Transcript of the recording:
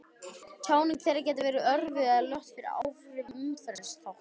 Tjáning þeirra gæti verið örvuð eða lött fyrir áhrif umhverfisþátta.